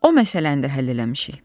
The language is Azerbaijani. O məsələni də həll eləmişik.